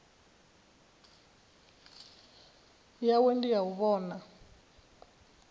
yawe ndi ya u vhona